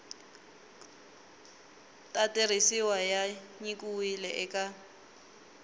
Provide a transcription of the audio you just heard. ta tirhisiwa ya nyikiwile eka